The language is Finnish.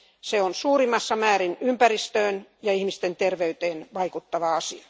Se on suurimmassa määrin ympäristöön ja ihmisten terveyteen vaikuttava asia.